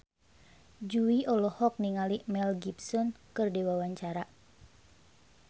Jui olohok ningali Mel Gibson keur diwawancara